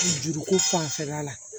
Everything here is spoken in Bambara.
Juruko fanfɛla la